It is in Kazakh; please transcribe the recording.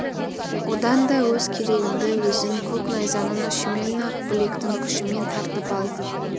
одан да өз керегіңді өзің көк найзаның ұшымен ақ білектің күшімен тартып ал